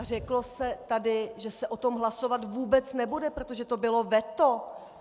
A řeklo se tady, že se o tom hlasovat vůbec nebude, protože to bylo veto.